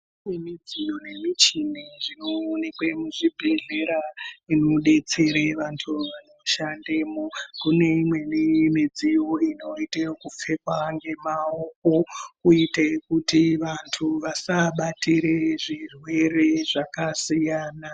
Kune midziyo nemishini inoonekwe muzvibhedhlera zvinodetsere vantu vanoshandemo kune imweni midziyo inoita yekupfekwa ngemaoko kuite kutu vantu vasabatire zvirwere zvakasiyana